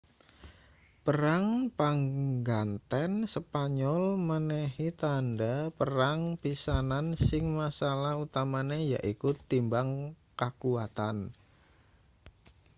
perang pangganten spanyol menehi tandha perang pisanan sing masalah utamane yaiku timbang kakuwatan